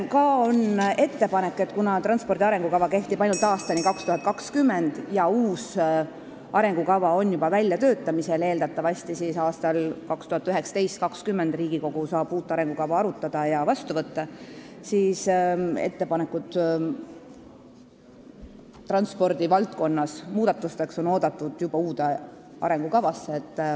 Ka on ettepanek, et kuna transpordi arengukava kehtib ainult aastani 2020 ja uus arengukava on juba väljatöötamisel – eeldatavasti aastail 2019–2020 saab Riigikogu uut arengukava arutada ja selle vastu võtta –, siis ettepanekud transpordi valdkonnas muudatuste tegemiseks on oodatud juba uue arengukavaga seoses.